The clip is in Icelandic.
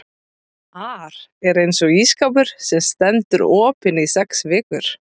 ar er eins og ísskápur sem stendur opinn í sex vikur.